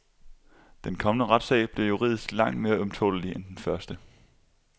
Den kommende retssag bliver juridisk langt mere ømtålelig end den første.